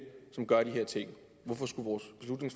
som gør de her ting hvorfor skulle